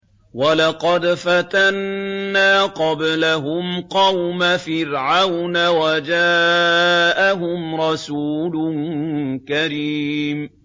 ۞ وَلَقَدْ فَتَنَّا قَبْلَهُمْ قَوْمَ فِرْعَوْنَ وَجَاءَهُمْ رَسُولٌ كَرِيمٌ